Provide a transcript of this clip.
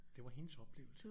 Det var hendes oplevelse